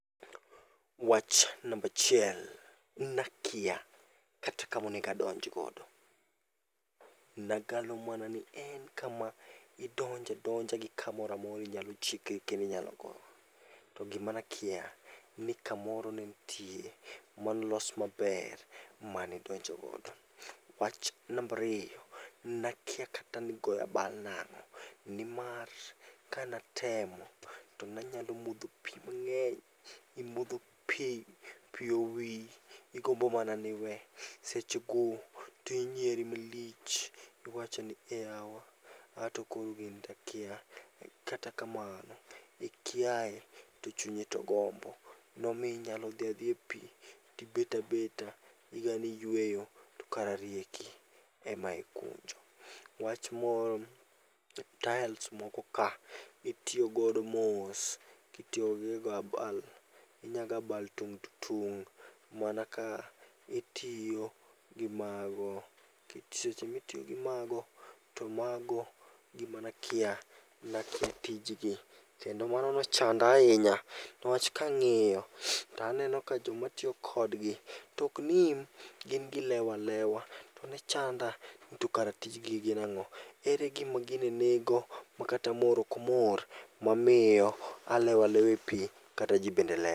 Wach namba achiel. Nakia kata kama onego adonj godo. Nagalo mana ni en kama idonjo adonja gi kamoro amora inyalo chikri go kendo inyalo gowo. To gima nakia ni kamoro nenitie molos maber mane idonjo godo. Wach namba ariyo, nakia kata nigoyo abal nang'o. Nimar kane atemo, to nanyalo modho pi mang'eny. Imodho pi, pi owiyi , igombo mana ni iwe. Sechego to inyieri malich. Iwacho ni ei yawa, anto koro gini takia. Kata kamano, ikiaye to chunyi to gombo. Nomiyo inyalo dhi adhiya e pi tibet abeta. Igalo ni iyueyo to kara rieki ema ikunjo. Wach moro, taels moko ka , itiyo godo mos itiyo kigoyo abal. Inyalo goyo abal tung' to tung' mana ka itiyo gi mago nikech seche mitiyo gi mago, to mago gima ne akia tijgi gi kendo mano ochanda ahinya niwach kang'iyo to aneno ka joma tiyo kodgi to ok nim, gin gilewo alewa. To ne chanda nikare tij gi gin ang'o. Ere gima gini nigo makata mor ok omor alewo alowa epi kata ji bende lewo.